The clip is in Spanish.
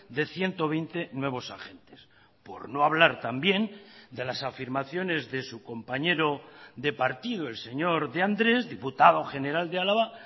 de ciento veinte nuevos agentes por no hablar también de las afirmaciones de su compañero de partido el señor de andrés diputado general de álava